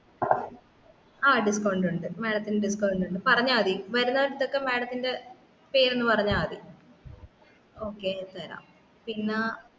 ആ discount ഉണ്ട് madam ത്തിനു discount ഉണ്ട് പറഞ്ഞാമതി വരുന്നവർട്ത്തൊക്കെ madam ത്തിന്റെ പേര് ഒന്ന് പറഞ്ഞാമതി